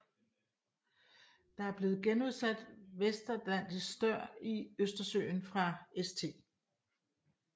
Der er blevet genudsat vestatlantisk stør i Østersøen fra St